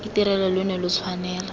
itirelwa lo ne lo tshwanela